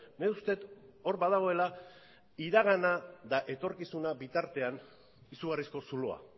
nik uste dut hor badagoela iragana eta etorkizuna bitartean izugarrizko zuloa